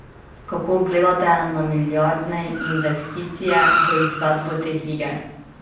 Kako gledate na milijardne investicije v izvedbo teh iger?